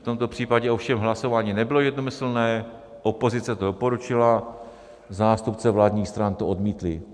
V tomto případě ovšem hlasování nebylo jednomyslné - opozice to doporučila, zástupci vládních stran to odmítli.